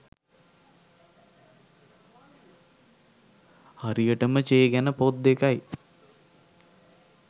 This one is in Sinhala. හරියටම චේ ගැන පොත් දෙකයි